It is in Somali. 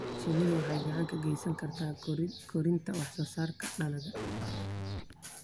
Shinnidu waxay gacan ka geysan kartaa kordhinta wax soo saarka dalagga.